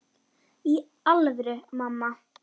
Í alvöru, mamma.